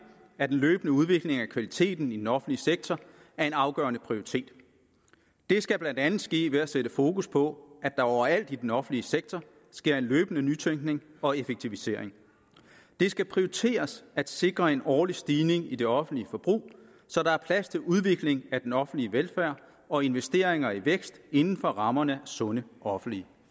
at en løbende udvikling af kvaliteten i den offentlige sektor er en afgørende prioritet det skal blandt andet ske ved at sætte fokus på at der overalt i den offentlige sektor sker en løbende nytænkning og effektivisering det skal prioriteres at sikre en årlig stigning i det offentlige forbrug så der er plads til udvikling af den offentlige velfærd og investeringer i vækst inden for rammerne af sunde offentlige